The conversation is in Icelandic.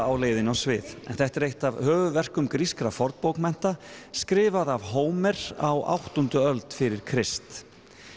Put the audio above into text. á leiðinni á svið en þetta er eitt af höfuðverkum grískra fornbókmennta skrifað af Hómer á áttundu öld fyrir Krist